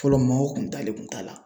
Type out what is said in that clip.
Fɔlɔ maaw kun dalen kun t'a la.